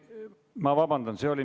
Ma vabandan!